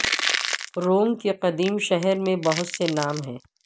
روم کے قدیم شہر میں بہت سے نام ہیں